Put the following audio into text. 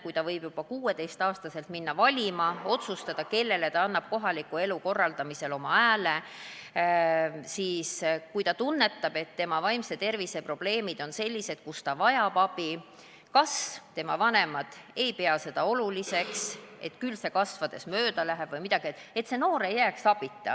Kui noor inimene võib juba 16-aastaselt minna valima ja otsustada, kellele ta annab kohaliku elu korraldamisel oma hääle, siis kui ta tunneb, et tema vaimse tervise probleemid on sellised, mille lahendamisel ta vajab abi, kuid vanemad ei pea seda oluliseks – et küll see kasvades mööda läheb –, ei tohiks see noor jääda abita.